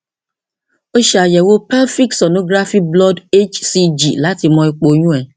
o ṣe àyẹwò pelvic sonographyblood hcg láti mọ ipò oyún rẹ